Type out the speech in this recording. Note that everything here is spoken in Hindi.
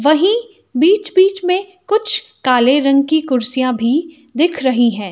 वहीं बीच बीच में कुछ काले रंग की कुर्सियां भी दिख रही हैं।